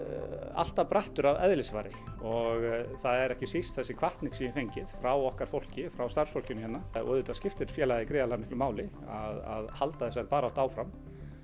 alltaf brattur að eðlisfari og það er ekki síst þessi hvatning sem ég hef fengið frá okkar fólki frá starfsfólkinu hérna og auðvitað skiptir félagið gríðarmiklu máli að halda þessari baráttu áfram